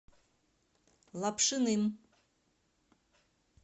лапшиным